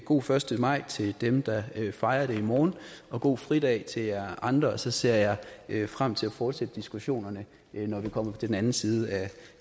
god første maj til dem der fejrer det i morgen og god fridag til jer andre så ser jeg frem til at fortsætte diskussionerne når vi kommer på den anden side